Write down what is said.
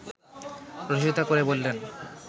রসিকতা করে বললেন